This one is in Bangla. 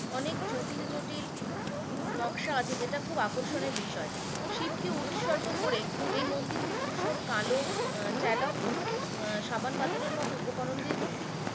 অনেক জটিল জটিল নকশা আছে যেটা খুব খুব আকর্ষণের বিষয়, শিবকে উৎসর্গ করে এই মন্দিরটি ধূসর কালো আহ টেলক সাবান পাথরের মতো উপকরণ দিয়ে তৈরী